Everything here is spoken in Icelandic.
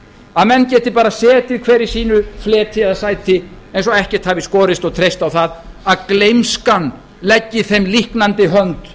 að menn geti bara setið hver í sínu fleti eða sæti eins og ekkert hafi í skorist og treyst á að gleymskan leggi þeim líknandi hönd